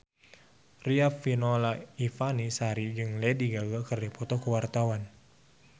Riafinola Ifani Sari jeung Lady Gaga keur dipoto ku wartawan